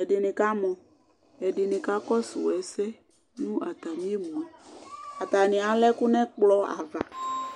ɛdini kamɔ ɛdini kakɔsʋ ɛsɛ nʋ atami emʋe ata alɛ ɛkʋ nʋ ɛkplɔ ava